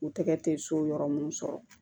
U tɛgɛ tɛ so yɔrɔ mun sɔrɔ